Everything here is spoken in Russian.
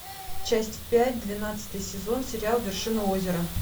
часть пять двенадцатый сезон сериал вершина озера